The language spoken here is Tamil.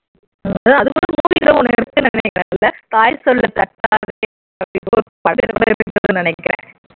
ஆமா அது கூட movie name ஒன்னு இருக்கு கூட இல்ல தாய் சொல்லை தட்டாதே அப்படின்னு ஒரு படம் இருக்குன்னு நினைக்கிறேன்